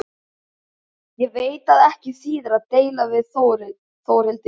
Ég veit að ekki þýðir að deila við Þórhildi.